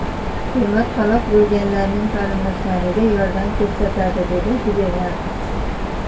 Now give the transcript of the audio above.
Hukumat halok bo‘lganlarning qarindoshlariga yordam ko‘rsatadi”, dedi gubernator.